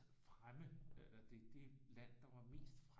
Fremme det det land der var mest fremme